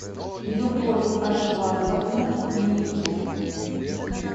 любовь ажватовна милькина